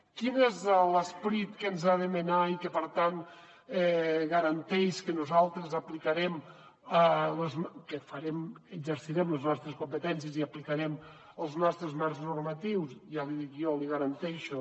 quin és l’esperit que ens ha de menar i que per tant garanteix que nosaltres exercirem les nostres competències i aplicarem els nostres marcs normatius ja l’hi dic jo l’hi garanteixo